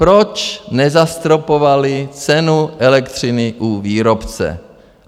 Proč nezastropovali cenu elektřiny u výrobce?